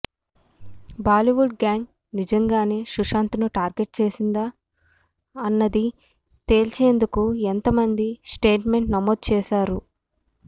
Bollywood gang నిజంగానే సుశాంత్ను target చేసిందా అన్నది తేల్చేందుకే ఇంతమంది స్టేట్మెంట్స్ నమోదు చేశారు